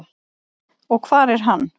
Og hvar er hann?